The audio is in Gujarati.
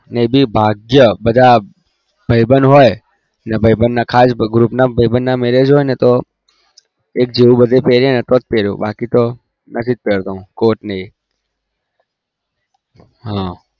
એ બી ભાગ્ય બધા ભાઈબંધ હોય ભાઈબંધ ના ખાસ group ના ભાઈબંધ ના marriage હોત તો એક એવું પેરીએ